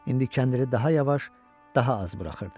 İndi kəndiri daha yavaş, daha az buraxırdı.